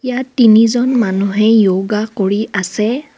ইয়াত তিনিজন মানুহে য়োগা কৰি আছে.